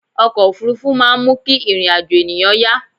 ọkọ̀ òfurufú máà ń mú kí ìrìn àjọ̀ ènìyàn yá